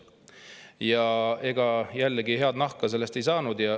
Ja ega jällegi head nahka sellest ei saanud.